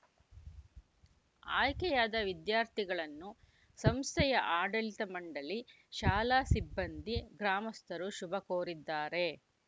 ಆಯ್ಕೆಯಾದ ವಿದ್ಯಾರ್ಥಿಗಳನ್ನು ಸಂಸ್ಥೆಯ ಆಡಳಿತ ಮಂಡಳಿ ಶಾಲಾ ಸಿಬ್ಬಂದಿ ಗ್ರಾಮಸ್ಥರು ಶುಭ ಕೋರಿದ್ದಾರೆ